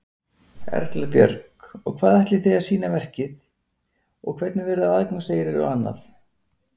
Erla Björg: Og hvað ætlið þið að sýna verkið og hvernig verður aðgangseyrir og annað?